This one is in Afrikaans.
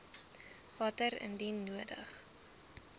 water indien nodig